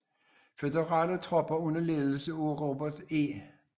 Føderale tropper under ledelse af Robert E